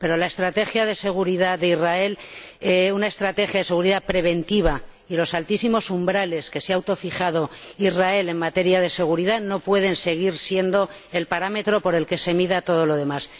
Pero la estrategia de seguridad de Israel, una estrategia de seguridad preventiva, y los altísimos umbrales que se ha autofijado Israel en materia de seguridad, no pueden seguir siendo el parámetro por el que se mida todo lo demás.